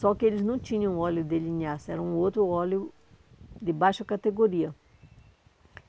Só que eles não tinham óleo de linhaça, era um outro óleo de baixa categoria.